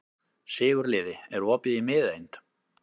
Sigurliði, er opið í Miðeind?